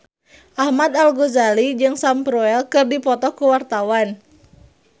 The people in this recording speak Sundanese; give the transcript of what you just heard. Ahmad Al-Ghazali jeung Sam Spruell keur dipoto ku wartawan